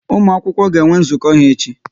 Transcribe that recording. Ụmụ akwụkwọ ga enwe nzukọ ha echi